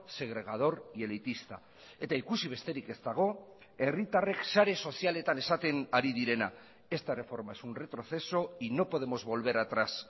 segregador y elitista eta ikusi besterik ez dago herritarrek sare sozialetan esaten ari direna esta reforma es un retroceso y no podemos volver atrás